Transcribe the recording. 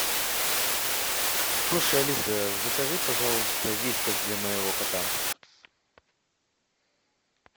слушай алиса закажи пожалуйста вискас для моего кота